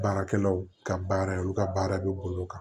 Baarakɛlaw ka baara ye olu ka baara bɛ bolo kan